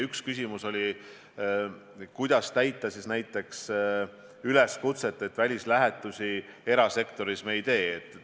Üks küsimus oli, kuidas kontrollida, kas järgitakse näiteks üleskutset välislähetusi erasektoris mitte teha.